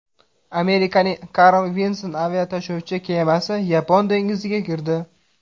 Amerikaning Carl Vinson aviatashuvchi kemasi Yapon dengiziga kirdi.